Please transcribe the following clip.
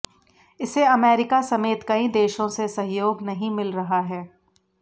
इसे अमेरिका समेत कई देशों से सहयोग नहीं मिल रहा है